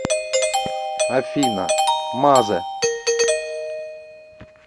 афина мазэ